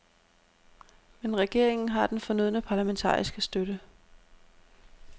Men regeringen har den fornødne parlamentariske støtte.